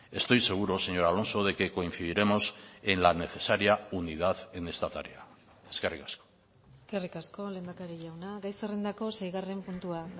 estoy seguro señor alonso de que coincidiremos en la necesaria unidad en esta tarea eskerrik asko eskerrik asko lehendakari jauna gai zerrendako seigarren puntua